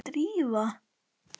Var Drífa.?